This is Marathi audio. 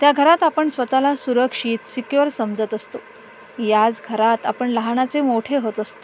त्या घरात आपण स्वताला सुरक्षित सिक्युर समजत असतो याच घरात आपण लहानाचे मोठे होतं असतो.